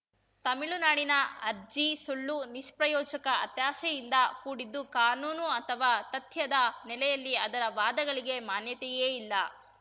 ತಮಿಳುನಾಡಿನ ಅರ್ಜಿ ಸುಳ್ಳು ನಿಷ್ಪ್ರಯೋಜಕ ಹತಾಶೆಯಿಂದ ಕೂಡಿದ್ದು ಕಾನೂನು ಅಥವಾ ತಥ್ಯದ ನೆಲೆಯಲ್ಲಿ ಅದರ ವಾದಗಳಿಗೆ ಮಾನ್ಯತೆಯೇ ಇಲ್ಲ